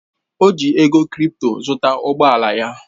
Ọ ji ego krịpto zụta ụgbọ ala ya